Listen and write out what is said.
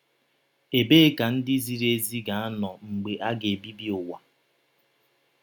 Ebee ka ndị ziri ezi ga - anọ mgbe a ga - ebibi ụwa?